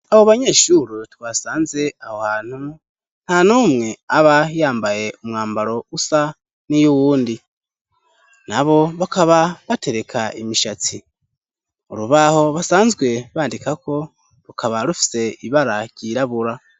Abo banyeshure twasanze aho hantu, nta n'umwe aba yambaye umwambaro usa n'iyuwundi, nabo bakaba batereka imishatsi, urubaho basanzwe bandikako rukaba rufise ibara ryirabura.